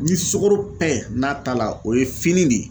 Ni sukoro pɛ n'a ta la o ye fini de ye.